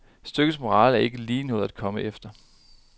Stykkets morale er ikke lige noget at komme efter.